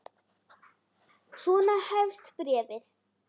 Svona hefst bréfið